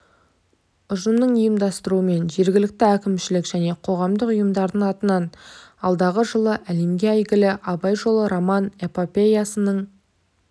ұжымының ұйымдастыруымен жергілікті әкімшілік және қоғамдық ұйымдардың атынан алдағы жылы әлемге әйгілі абай жолы роман-эпопеясының